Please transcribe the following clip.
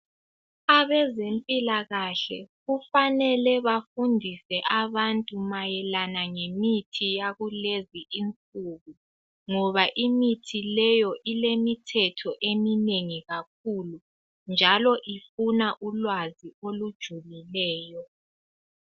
Abezempilakahle kufanele bafundise abantu mayelana ngemithi yakulezinsuku. ngoba imithi leyo ilemithetho eminengi kakhulu njalo ifuna ulwazi olujulileyo.